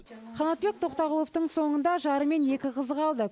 қанатбек тоқтағұловтың соңында жары мен екі қызы қалды